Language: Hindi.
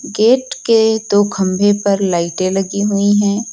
गेट के दो खंभे पर दो लाइटें लगी हुई है।